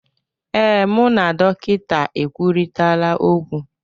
Ee, mụ na dọkịta ekwurịtaala okwu